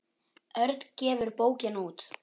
Örn gefur bókina út.